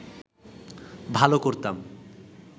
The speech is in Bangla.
ভাল করতাম